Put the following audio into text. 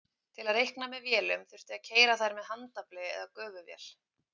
Til að reikna með vélunum þurfti að keyra þær með handafli eða gufuvél.